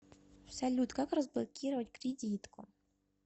салют как разблокировать кредитку